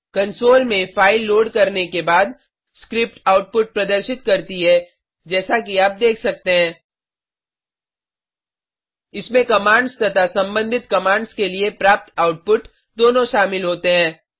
console में file load करने के बाद स्क्रिप्ट आउटपुट प्रदर्शित करती है जैसा कि आप देख सकते है इसमें कमांड्स तथा संबंधित कमांड्स के लिए प्राप्त आउटपुट दोनों शामिल होते हैं